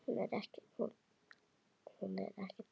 Hún er ekkert barn.